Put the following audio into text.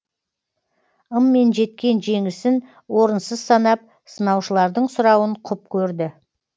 ыммен жеткен жеңісін орынсыз санап сынаушылардың сұрауын құп көрді